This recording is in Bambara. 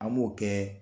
An b'o kɛ